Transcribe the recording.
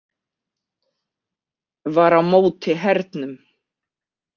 Var á móti hernum.